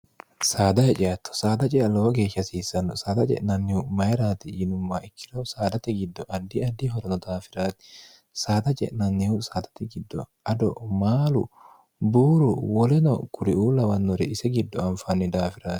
saada heceatto saada cea lowo geeshi hasiissanno saada je'nannihu mayiraati yinumma ikkiro saadati giddo addi addi horono daafiraati saada ce'nannihu saadati giddo ado maalu buuru woleno kuriuu lawannore ise giddo anfaanni daafirati